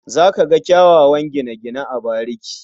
Za ka ga kyawawan gine-gine a bariki.